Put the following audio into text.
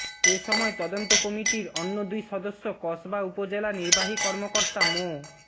এসময় তদন্ত কমিটির অন্য দুই সদস্য কসবা উপজেলা নির্বাহী কর্মকতা মো